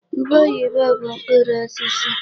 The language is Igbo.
Ube oyibo bụ mkpụrụ osisi.